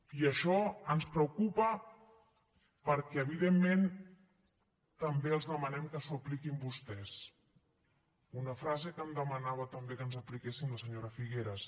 i això ens preocupa perquè evidentment també els demanem que s’ho apliquin vostès una frase que em demanava també que ens apliquéssim la senyora figueras